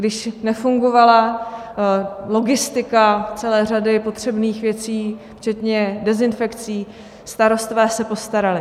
Když nefungovala logistika celé řady potřebných věcí včetně dezinfekcí, starostové se postarali.